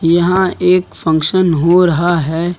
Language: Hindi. यहां एक फंक्शन हो रहा है।